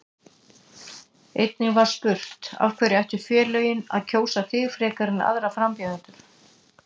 Einnig var spurt: Af hverju ættu félögin að kjósa þig frekar en aðra frambjóðendur?